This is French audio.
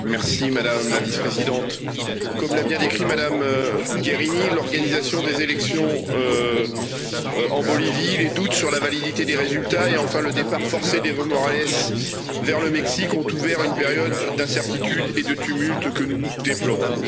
Madame la Présidente, Madame la Vice-présidente, comme l'a bien décrit Mme Mogherini, l'organisation des élections en Bolivie, les doutes sur la validité des résultats et, enfin, le départ forcé d'Evo Morales vers le Mexique ont ouvert une période d'incertitude et de tumultes que nous déplorons.